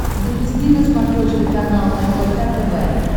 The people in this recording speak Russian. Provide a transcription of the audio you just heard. запусти на смотрешке канал рбк тв